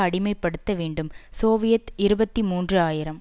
அடிமை படுத்த வேண்டும் சோவியத் இருபத்தி மூன்று ஆயிரம்